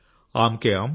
ఆమ్ కే ఆమ్